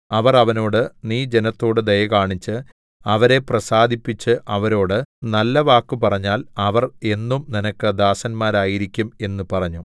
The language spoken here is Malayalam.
അവർ അവനോട് നീ ജനത്തോടു ദയകാണിച്ച് അവരെ പ്രസാദിപ്പിച്ച് അവരോട് നല്ല വാക്കു പറഞ്ഞാൽ അവർ എന്നും നിനക്ക് ദാസന്മാരായിരിക്കും എന്നു പറഞ്ഞു